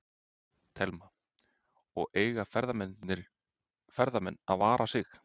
Telma: Og eiga ferðamenn að vara sig?